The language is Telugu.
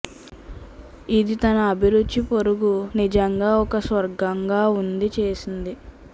ఇది తన అభిరుచి పొరుగు నిజంగా ఒక స్వర్గంగా ఉంది చేసింది